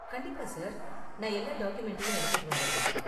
கண்டிப்பா, சார்! நான் எல்லா டாக்குமெண்ட்டையும் எடுத்துட்டு வந்திடுறேன்.